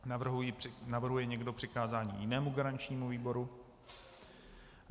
Navrhuje někdo přikázání jinému garančnímu výboru?